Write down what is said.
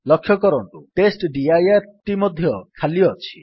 ଲକ୍ଷ୍ୟ କରନ୍ତୁ ଟେଷ୍ଟଡିର ଟି ମଧ୍ୟ ଖାଲି ଅଛି